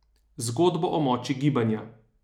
Zgodbo o moči gibanja.